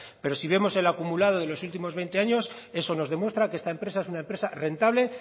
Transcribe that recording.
pero si vemos el acumulado de estos últimos veinte años eso nos demuestra que esta empresa es una empresa rentable